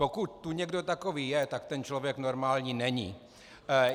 Pokud tu někdo takový je, tak ten člověk normální není.